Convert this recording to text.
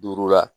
Duuru la